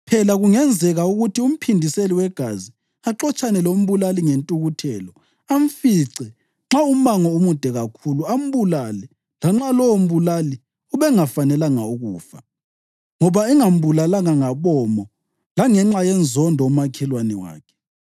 Phela kungenzeka ukuthi umphindiseli wegazi axotshane lombulali ngentukuthelo, amfice nxa umango umude kakhulu, ambulale lanxa lowombulali ubengafanelanga ukufa, ngoba engambulalanga ngabomo langenxa yenzondo umakhelwane wakhe.